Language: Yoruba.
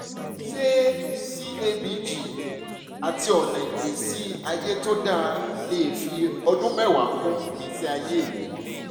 ṣé cabg àti ọ̀nà ìgbésí ayé tó dára lè fi ọdún mẹ́wàá kún ìgbésí ayé mi?